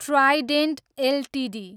Trident Ltd